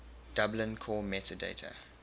dublin core metadata